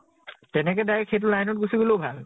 তেনেকে direct সেইতো line ত গুছি গʼলেও ভাল ।